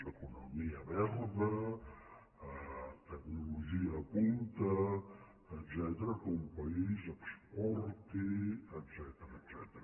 economia verda tecnologia punta etcètera que un país exporti etcètera